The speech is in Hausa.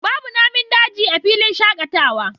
Babu Namin daji a filin shakatawa